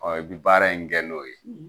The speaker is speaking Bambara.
Ɔ i bɛ baara in kɛ n'o ye